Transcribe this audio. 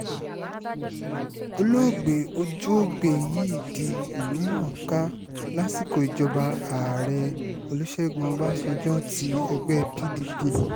olóògbé ojúoúgbèh yìí di ìlú mọ̀-ọ́n-kà lásìkò ìjọba ààrẹ olùṣègùn ọbànjọ́ ti ẹgbẹ́ pdp